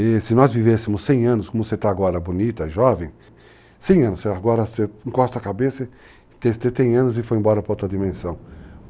E se nós vivêssemos 100 anos, como você está agora, bonita, jovem, 100 anos, agora você encosta a cabeça, você tem 100 anos e foi embora para outra dimensão.